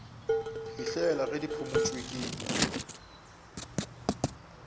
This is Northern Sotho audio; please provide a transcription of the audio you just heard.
fihlela ge di phumotšwe ke